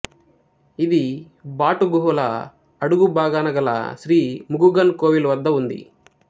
ఇది బాటు గుహల అడుగు భాగాన గల శ్రీ ముగుగన్ కోవిల్ వద్ద ఉంది